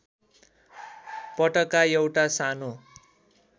पटका एउटा सानो